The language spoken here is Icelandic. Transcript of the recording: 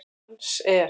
Dans er?